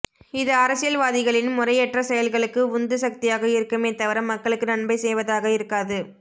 இது அரசியல் வாதிகளின் முறையற்ற செயல்களுக்கு உந்து சக்தியாக இருக்குமே தவிர மக்களுக்கு நன்மை செய்வதாக இருக்காது